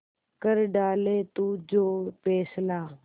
कर डाले तू जो फैसला